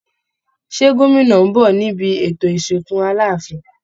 Ṣé gómìnà ń bọ̀ níbi ètò ìsìnkú Aláàfin?